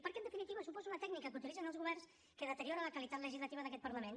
perquè en definitiva suposa una tècnica que utilitzen els governs que deteriora la qualitat legislativa d’aquest parlament